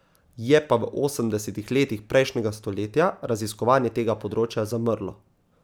Je pa v osemdesetih letih prejšnjega stoletja raziskovanje tega področja zamrlo.